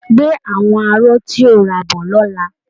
Gbé àwọn aró tí o rà bọ̀ lọ́la!